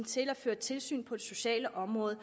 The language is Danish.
til at føre tilsyn på det sociale område